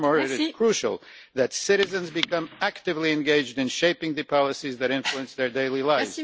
Furthermore it is crucial that citizens become actively engaged in shaping the policies that influence their daily lives.